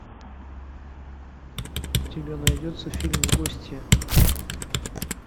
у тебя найдется фильм гостья